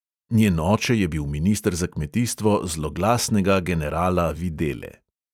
Njen oče je bil minister za kmetijstvo zloglasnega generala videle.